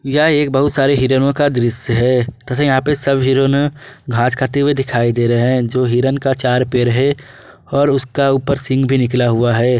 यह एक बहुत सारे हीरनो का दृश्य है तथा यहां पे सब हिरनो घास खाते हुए दिखाई दे रहे हैं जो हिरण का चार पर है और उसका ऊपर सिंह भी निकला हुआ है।